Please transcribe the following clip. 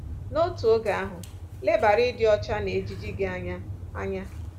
N’otu oge ahụ, lebara ịdị ọcha na ejiji gị anya. anya.